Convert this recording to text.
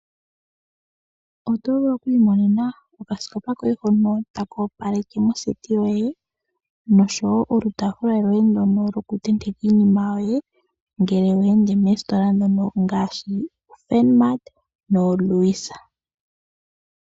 Oto vulu oku imonena oka sikopa koye hono taka opaleke moseti yoye nolutafula lwoye ndono to tenteke iinima yoye ngele wende moositola ndhono ngaashi firnmat nolewis.